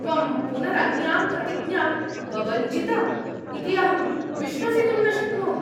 त्वं पुनरन्यां प्रतिज्ञां बभञ्जिथ इति अहं विश्वसितुं न शक्नोमि।